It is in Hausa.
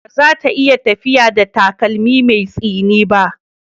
Ba za ta iya tafiya da takalmi mai tsini ba.